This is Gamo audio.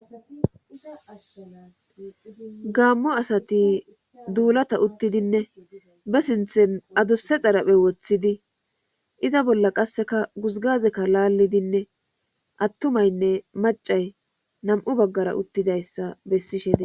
gaammo asati duulata uttidinne be sinthen adusse xaraphe woththidi iza bolla qasseka guzgazekka laallidinne attumaynne macay nam7u baggara uttidayssa bessishede